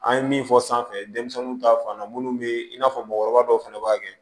An ye min fɔ sanfɛ denmisɛnninw ta fan na munnu be i n'a fɔ mɔgɔkɔrɔba dɔw fɛnɛ b'a kɛ